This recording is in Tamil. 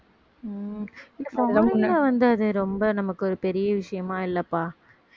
உம் foreign ல வந்து அது ரொம்ப நமக்கு ஒரு பெரிய விஷயமா இல்லப்பா